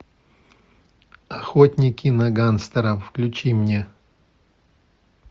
охотники на гангстеров включи мне